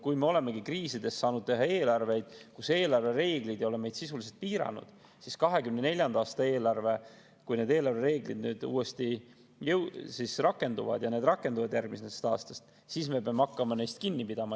Kui me olemegi kriisides saanud teha eelarveid, kus eelarvereeglid ei ole meid sisuliselt piiranud, siis 2024. aasta eelarve puhul, kui need eelarvereeglid uuesti rakenduvad – need rakenduvad järgmisest aastast –, me peame hakkama neist kinni pidama.